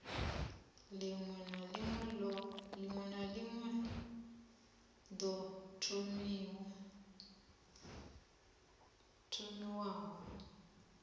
ḽiṅwe na ḽiṅwe ḓo thomiwaho